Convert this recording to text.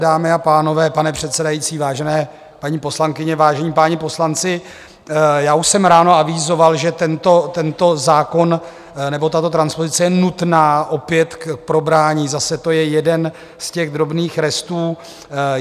Dámy a pánové, pane předsedající, vážené paní poslankyně, vážení páni poslanci, já už jsem ráno avizoval, že tento zákon nebo tato transpozice je nutná opět k probrání, zase to je jeden z těch drobných restů.